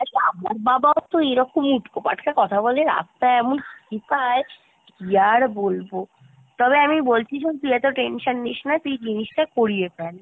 আমার বাবা ও তো এরকম উটকো পাটকা কথা বলে রাস্তায় এমন হাসি পায় কি আর বলবো তবে আমি বলছি শোন তুই এতো tension নিস্ না তুই জিনিসটা করিয়ে ফেল।